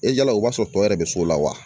E jala o b'a sɔrɔ tɔ yɛrɛ bɛ so la wa